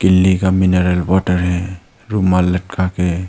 लि का mineral water है रुमाल लटका के --